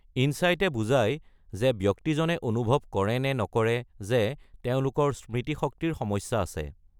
ইনচাইটে বুজায় যে ব্যক্তিজনে অনুভৱ কৰে নে নকৰে যে তেওঁলোকৰ স্মৃতিশক্তিৰ সমস্যা আছে।